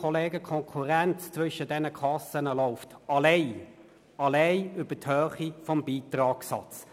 Die Konkurrenz zwischen den Kassen läuft einzig über die Höhe des Beitragssatzes.